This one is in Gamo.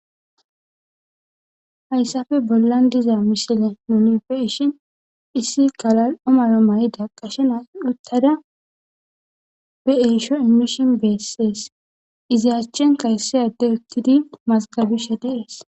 hayssafe bollan diza misile noni beishin issi kalal omaro mayida qashena uttada be7esho immishin beessees izaachchen kayssey adde uttidi mazgabishe deees